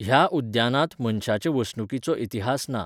ह्या उद्यानांत मनशाचे वसणुकीचो इतिहास ना.